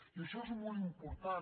i això és molt important